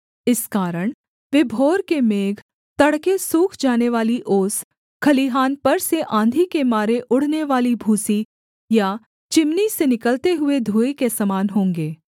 इस कारण वे भोर के मेघ तड़के सूख जानेवाली ओस खलिहान पर से आँधी के मारे उड़नेवाली भूसी या चिमनी से निकलते हुए धुएँ के समान होंगे